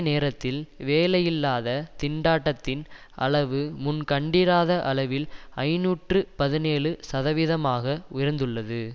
நேரத்தில் வேலையில்லாத திண்டாட்டத்தின் அளவு முன் கண்டிராத அளவில் ஐநூற்று பதினேழு சதவிதமாக உயர்ந்துள்ளது